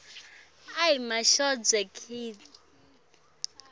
indzawo lapho sicelo